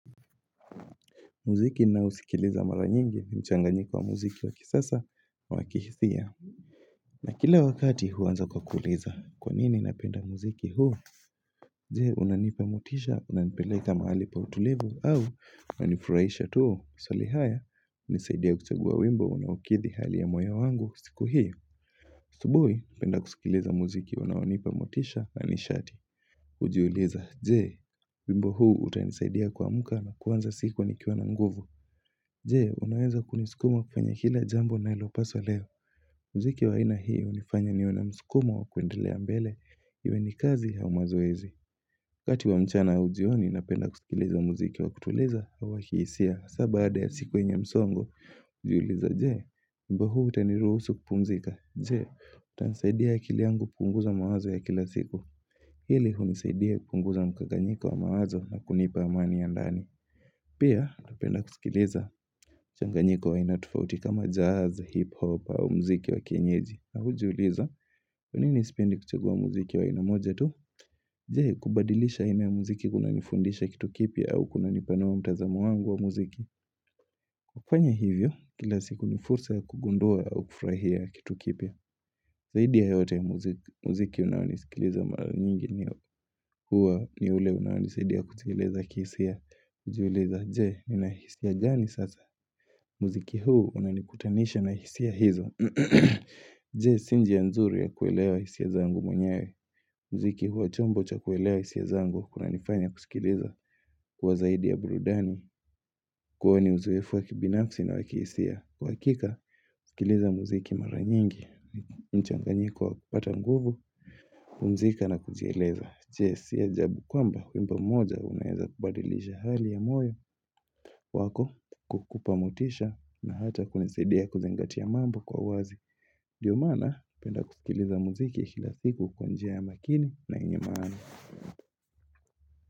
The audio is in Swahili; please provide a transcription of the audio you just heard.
Muziki ninaousikiliza mara nyingi ni mchanganiko wa muziki wa kisasa wa kihithia. Na kila wakati huanza kwa kuuliza kwa nini napenda muziki huu. Je, unanipamotisha, unanipeleka mahali pa utulivu au unanifuraisha tu. Swali haya, unisaidia kuchagua wimbo unawakithi hali ya moyo wangu siku hiyo. Asubuhi, penda kusikiliza muziki, unanipamotisha, na nishati. Ujiuliza, jee, wimbo huu utanisaidia kuamuka na kuanza siku nikiuwa na nguvu. Je, unaweza kunisikuma kwenye kila jambo nalo paswa leo. Mziki wa aia hii unifanya niwe na mskumo wa kuendelea mbele. Iwe ni kazi au mazoezi. Kati wa mchana ujioni na penda kusikiliza mziki wa kutuliza hawa kiisia. Saa baada ya siku enye msongo, ujiuliza je. Wimbo huu utaniruhusu kupumzika. Je, utansaidia akili yangu kupunguza mawazo ya kila siku. Hili unisaidia kupunguza mkaganyika wa mawazo na kunipa amani ya ndani. Pia, napenda kusikiliza mchanganyiko wa aina tofauti kama jazz, hip-hop au muziki wa kienyeji na ujiuliza, kwa nini sipendi kuchagua muziki wa ana moja tu? Je, kubadilisha aina ya muziki kuna nifundisha kitu kipya au kuna nipanua mtazamo wangu wa muziki kufanya hivyo, kila siku ni fursa kugundua au kufrahia kitu kipia Zaidi ya yote ya muziki unaoni sikiliza mara nyingi ni huwa ni ule unawani saidia kusikiliza i kiihisia Ujiuliza, je, ninahisia gani sasa? Muziki huu unanikutanisha na hisia hizo Je, si njia nzuri ya kuelewa hisia zangu mwenyewe muziki huwa chombo cha kuelewa hisia zangu Kuna nifanya kusikiliza kwa zaidi ya burudani Kwani ni uzoefu wa kibinafsi na wakihisia Kwa hakika, usikiliza muziki maranyingi mchanganyiko wa kupata nguvu kupumzika na kujieleza Je, si ajabu kwamba wimbo moja Unaeza kubadilisha hali ya moyo wako kukupamotisha na hata kunisaidia kuzingatia mambo kwa wazi Ndiyo maana napenda kusikiliza muziki kila siku kwa njia ya makini na yenye maana.